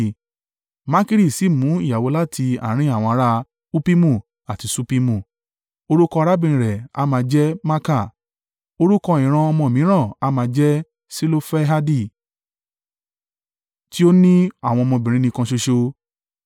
Makiri sì mú ìyàwó láti àárín àwọn ará Huppimu àti Ṣuppimu. Orúkọ arábìnrin rẹ̀ a máa jẹ́ Maaka. Orúkọ ìran ọmọ mìíràn a máa jẹ́ Selofehadi, tí ó ní àwọn ọmọbìnrin nìkan ṣoṣo.